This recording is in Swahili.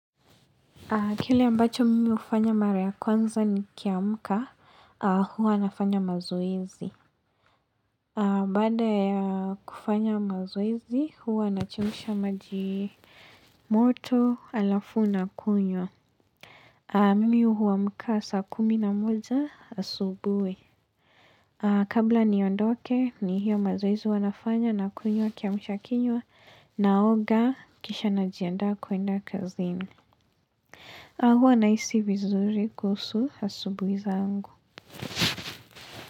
Kile ambacho mimi hufanya mara ya kwanza ni kiamka, huwa nafanya mazoezi. Baada ya kufanya mazoezi, huwa na chemsha majimoto alafuna kunywa. Mimi huwamka saa kuminamoja asubuhi. Kabla niondoke, ni hiyo mazoezi huwanafanya na kunywa kiamsha kinywa naoga kisha najiandaa kuenda kazini. A huanahisi vizuri kuhusu asubuhi zangu.